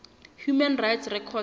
human rights record